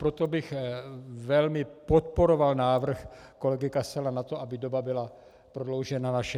Proto bych velmi podporoval návrh kolegy Kasala na to, aby doba byla prodloužena na 60 dnů.